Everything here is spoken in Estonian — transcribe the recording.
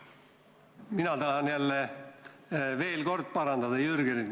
Mina tahan jälle veel kord parandada Jürgenit.